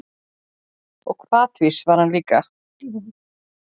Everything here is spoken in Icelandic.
Og hvatvís var hann líka.